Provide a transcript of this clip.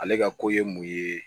Ale ka ko ye mun ye